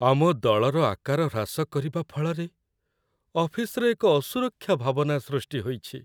ଆମ ଦଳର ଆକାର ହ୍ରାସ କରିବା ଫଳରେ ଅଫିସରେ ଏକ ଅସୁରକ୍ଷା ଭାବନା ସୃଷ୍ଟି ହୋଇଛି।